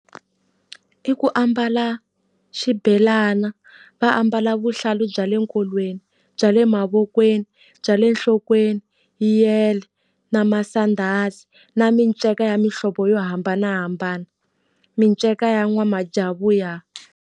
I ku ambala xibelana, va ambala vuhlalu bya le nkolweni, bya le mavokweni, bya le nhlokweni, yele, na masandhazi. Na minceka ya mihlovo yo hambanahambana, minceka ya n'wamajavuya.